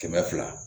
Kɛmɛ fila